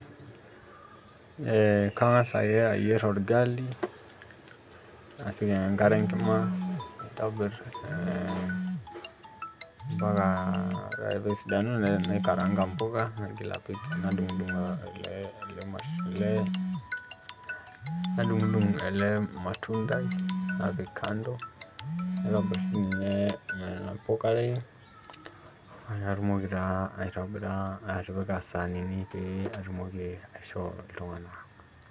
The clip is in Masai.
Eh kang'as ake ayier orgali, napik enkare enkima naitobir mpaka ore pesidanu, naikaraanka mpuka nadung'dung ele matundai napik kando, naitobir sinye nena pukare, natumoki taa aitobira atipika isaanini pee atumoki aishoo iltung'anak.